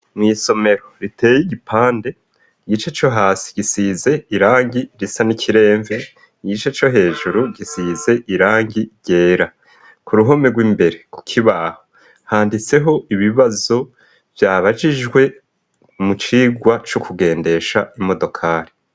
Mw' isomero riteye igipande, igice co hasi gisize irangi risa n'ikiremve, igice co hejuru gisize irangi ryera. Ku ruhome rw'imbere ku kibaho handitseho ibibazo babajijwe mu cirwa co kugendesha imodokari.